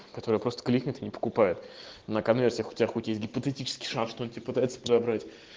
которые просто клиенты не покупают на конвертах у тебя хотеть гипотетически шанти пытается подобрать